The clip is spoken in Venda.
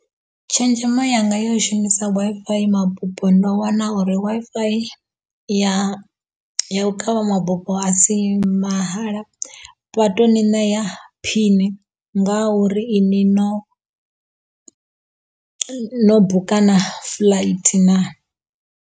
Tshenzhemo yanga ya u shumisa Wi-Fi mabufho ndo wana uri Wi-Fi ya u kavha mabufho a si mahala, vha to u ni ṋea phini nga uri iṅwi no no buka na flight na.